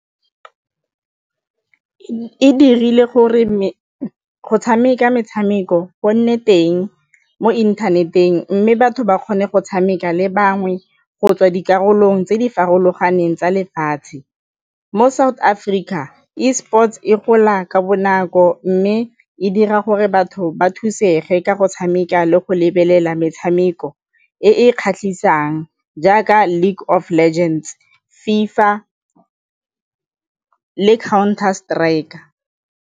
E dirile gore go tshameka metshameko go nne teng mo inthaneteng mme batho ba kgone go tshameka le bangwe go tswa dikarolong tse di farologaneng tsa lefatshe. Mo South Africa Esports e gola ka bonako mme e dira gore batho ba thusega ka go tshameka le go lebelela metshameko e e kgatlhisang jaaka League of Legends, FIFA le Counter Striker.